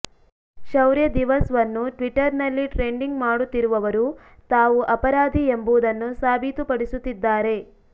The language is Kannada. ಶೌರ್ಯ ದಿವಸ್ ವನ್ನು ಟ್ವಿಟ್ಟರ್ ನಲ್ಲಿ ಟ್ರೆಂಡಿಂಗ್ ಮಾಡುತ್ತಿರುವವರು ತಾವು ಅಪರಾಧಿ ಎಂಬುದನ್ನು ಸಾಬೀತುಪಡಿಸುತ್ತಿದ್ದಾರೆ